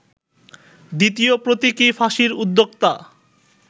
দ্বিতীয় প্রতীকী ফাঁসির উদ্যোক্তা